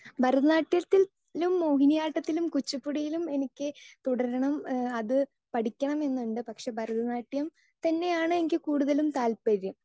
Speaker 2 ഭരതനാട്യത്തിലും മോഹിനിയാട്ടത്തിലും കുച്ചിപ്പുടിയിലും എനിക്ക് തുടരണം അത് പഠിക്കണം എന്നുണ്ട്. പക്ഷേ ഭരതനാട്യം തന്നെയാണ് എനിക്ക് കൂടുതലും താല്പര്യം.